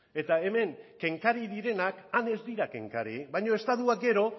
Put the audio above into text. eta hemen kenkari direnak han ez dira tenkari baina estatuak gero